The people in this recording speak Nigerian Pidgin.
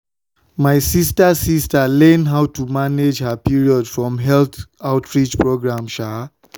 my sister sister learn how to manage her period from health outreach program.